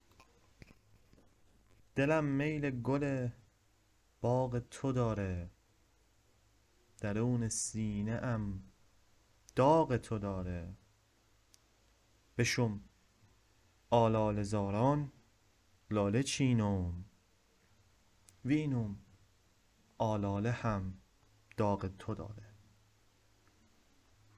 دلم میل گل باغ ته دیره درون سینه ام داغ ته دیره بشم آلاله زاران لاله چینم وینم آلاله هم داغ ته دیره